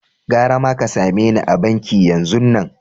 Garama ka same ni a'banki yanzun nan!